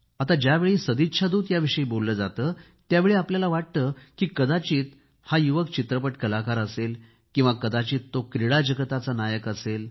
आता ज्यावेळी सदिच्छा दूत याविषयी बोलले जाते त्यावेळी आपल्याला वाटते की कदाचित हा युवक चित्रपट कलाकार असेल किंवा कदाचित तो क्रीडाजगताचा नायक असेल